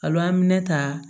Alo an bɛ minɛ ta